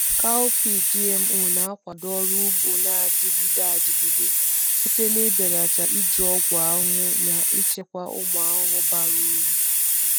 Cowpea GMO na-akwado ọrụ ugbo na-adịgide adịgide site n’ibelata iji ọgwụ ahụhụ na ichekwa ụmụ ahụhụ bara uru.